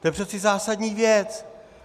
To je přece zásadní věc!.